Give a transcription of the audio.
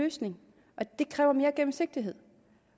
løsning og det kræver mere gennemsigtighed